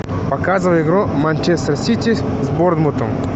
показывай игру манчестер сити с борнмутом